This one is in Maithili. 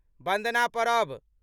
बन्दना पड़ब